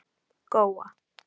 Góa